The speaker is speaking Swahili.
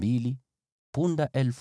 punda 61,000,